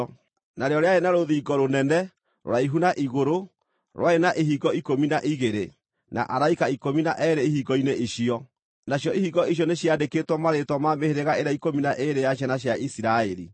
Narĩo rĩarĩ na rũthingo rũnene, rũraihu na igũrũ, rwarĩ na ihingo ikũmi na igĩrĩ, na araika ikũmi na eerĩ ihingo-inĩ icio. Nacio ihingo icio nĩciandĩkĩtwo marĩĩtwa ma mĩhĩrĩga ĩrĩa ikũmi na ĩĩrĩ ya ciana cia Isiraeli.